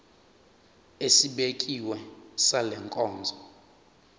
esibekiwe sale nkonzo